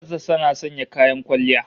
Matar sa tana sanya kayan kwalliya?